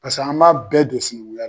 Pase an b'a bɛɛ do sinɛŋuya